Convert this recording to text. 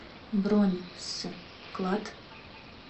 бронь с клад